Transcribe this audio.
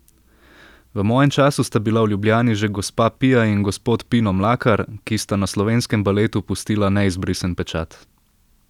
V mojem času sta bila v Ljubljani že gospa Pija in gospod Pino Mlakar, ki sta na slovenskem baletu pustila neizbrisen pečat.